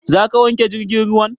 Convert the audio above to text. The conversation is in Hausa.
Za ka wanke jirgin ruwan?